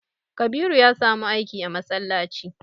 Kabiru ya samu aiki a masallaci.